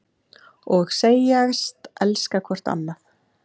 Og segjast elska hvort annað.